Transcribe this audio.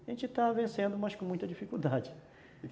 A gente está vencendo, mas com muita dificuldade.